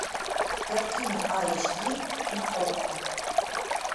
картина айч ди на окко